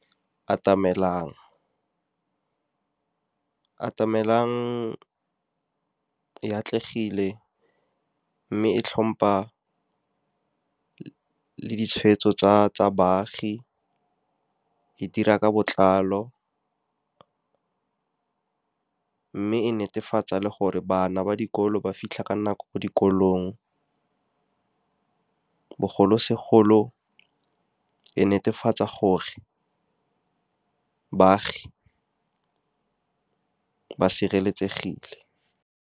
Atamelang e a atlegile, mme e tlhompa le ditshweetso tsa baagi. E dira ka botlalo, mme e netefatsa le gore bana ba dikolo ba fitlha ka nako ko dikolong. Bogolosegolo, e netefatsa gore baagi ba sireletsegile.